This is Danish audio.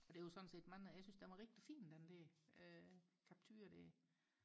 og det var sådan set mig jeg syntes den var rigtig fin den der Capture der